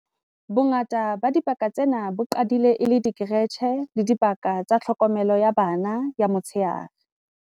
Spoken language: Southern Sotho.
Bongata ba dibaka tsena bo qadile e le dikeretjhe le dibaka tsa tlhokomelo ya bana ya motsheare.